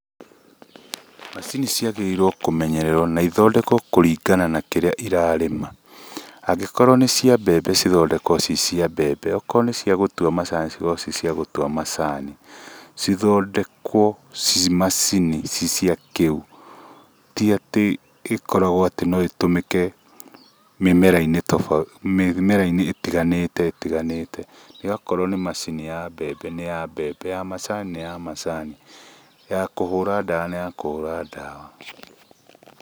Macini ciagĩrĩirwo kũmenyererwo na ithondekwo kũringana na kĩrĩa ĩrarĩma angĩkorwo nĩ cia mbembe cithondekwo ci cia mbembe okorwo nĩ cia gũtua macini cikorwo ci cia gũtua macani, cithondekwo cimacini ci cia kĩu ti atĩ ikoragwo atĩ no itũmĩke mĩmera-inĩ ĩtiganĩte yakorwo nĩ macini ya mbembe nĩ ya mbembe ya macani nĩ ya macani ya kũhũra ndawa nĩ ya kũhũra dawa.